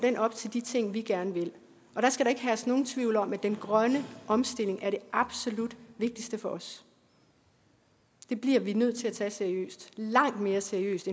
op til de ting vi gerne vil og der skal da ikke herske nogen tvivl om at den grønne omstilling er det absolut vigtigste for os det bliver vi nødt til at tage seriøst langt mere seriøst